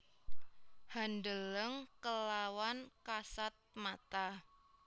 Handeleng kelawan kasat mata